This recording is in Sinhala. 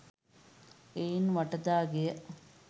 එයින් වටදා ගෙය